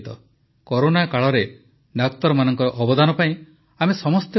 corona କାଳରେ ଡାକ୍ତରମାନଙ୍କ ଅବଦାନ ପାଇଁ ଆମେ ସମସ୍ତେ କୃତଜ୍ଞ